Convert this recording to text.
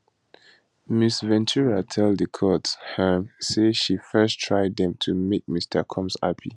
ms ventura tell di court um say she first try dem to make mr combs happy